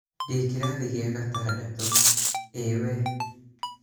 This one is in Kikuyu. ndĩ kĩrathigĩa gatandatũ, ĩĩ we?